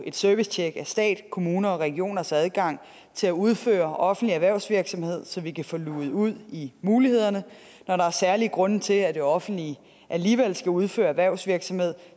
et servicetjek af stat kommuner og regioners adgang til at udføre offentlig erhvervsvirksomhed så vi kan få luget ud i mulighederne og er der særlige grunde til at det offentlige alligevel skal udføre erhvervsvirksomhed